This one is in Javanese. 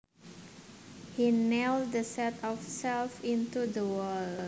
He nailed the set of shelves onto the wall